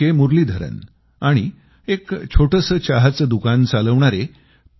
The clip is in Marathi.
मुरलीधरन आणि एक छोटसं चहाचं दुकान चालवणारे पी